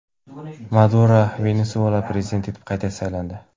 Maduro Venesuela prezidenti etib qayta saylandi.